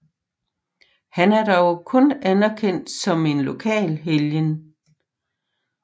Han er dog kun anerkendt som en lokal helgen